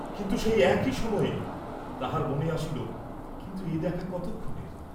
কিন্তু সেই এক সময়েই তাহার মনে আসিল, কিন্তু এ দেখা কতক্ষণের?